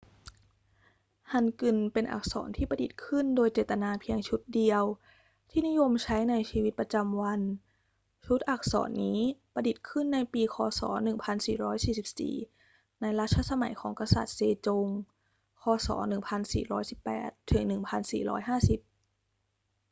ฮันกึลเป็นอักษรที่ประดิษฐ์ขึ้นโดยเจตนาเพียงชุดเดียวที่นิยมใช้ในชีวิตประจำวัน ชุดอักษรนี้ประดิษฐ์ขึ้นในปีค.ศ. 1444 ในรัชสมัยของกษัตริย์เซจง ค.ศ. 1418 - 1450